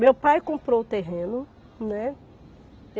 Meu pai comprou o terreno, né.